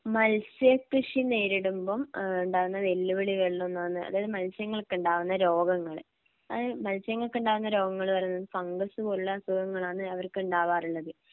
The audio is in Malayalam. മത്സ്യകൃഷി നേരിടുമ്പം ഏഹ് ഉണ്ടാവുന്ന വെല്ലുവിളികളിൽ ഒന്ന് എന്ന് പറഞ്ഞാൽ അതായത് മത്സ്യങ്ങൾക്കുണ്ടാവുന്ന രോഗങ്ങള് അത് മത്സ്യങ്ങൾക്ക് ഉണ്ടാകുന്ന രോഗങ്ങള് പറയുന്നത് ഫംഗസ് പോലുള്ള അസുഖങ്ങളാണ് അവർക്ക് ഉണ്ടാകാറുള്ളത്.